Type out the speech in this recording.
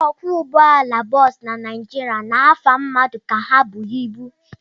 Ndị ọkwọụgbọala bọs na Naijiria na-afa mmadụ ka ha bụ ibu.